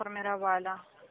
формировали